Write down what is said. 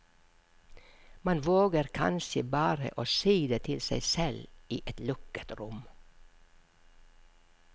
Man våger kanskje bare å si det til seg selv i et lukket rom.